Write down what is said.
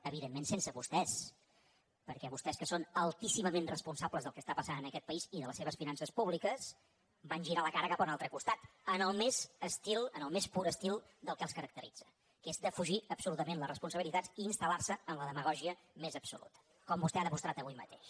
evidentment sense vostès perquè vostès que són altíssimament responsables del que està passant en aquest país i de les seves finances públiques van girar la cara cap a un altre costat en el més pur estil del que els caracteritza que és defugir absolutament les responsabilitats i instal·lar se en la demagògia més absoluta com vostè ha demostrat avui mateix